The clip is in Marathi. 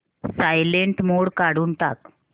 सायलेंट मोड काढून टाक